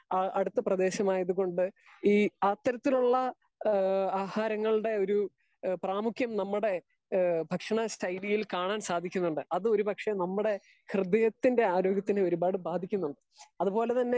Speaker 2 ആ അടുത്ത് പ്രേദേശം ആയത് കൊണ്ട് ഈ അത്രത്തിലുള്ള ആ ആഹാരങ്ങളുടെ ഒരു പ്രമുക്യം നമ്മുടെ ഭക്ഷണ ശൈലിയിൽ കാണാൻ സാധിക്കുന്നുണ്ട് അത് ഒര് പക്ഷെ നമ്മുടെ ഹൃദയത്തിന്റെ ആരോഗ്യത്തെ ഒരുപാട് ബാധിക്കുന്നുണ്ട്. അത് പോലെ തന്നെ